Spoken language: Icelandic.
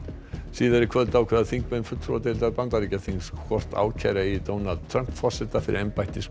síðar í kvöld ákveða þingmenn fulltrúadeildar Bandaríkjaþings hvort ákæra eigi Donald Trump forseta fyrir